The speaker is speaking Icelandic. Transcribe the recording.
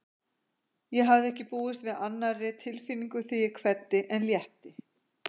Ég hafði ekki búist við annarri tilfinningu þegar ég kveddi en létti.